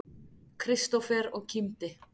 Kristófer og kímdi.